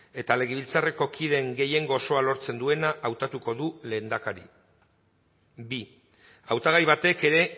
eta legebiltzarreko kideen gehiengo osoa lortzen duena hautatuko da lehendakari bi hautagai batek ere